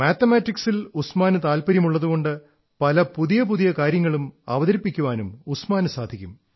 മാത്തമാറ്റിക്സിൽ ഉസ്മാന് താത്പര്യമുള്ളതുകൊണ്ട് പല പുതിയ പുതിയ കാര്യങ്ങളും അവതരിപ്പിക്കാനും ഉസ്മാന് സാധിക്കും